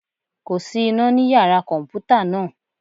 Kò sí iná ní Yàrá kọ̀m̀pútà náà.